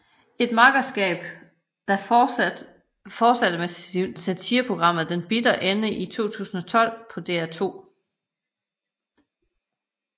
Et makkerskab der fortsatte med satireprogrammet Den Bitre Ende i 2012 på DR2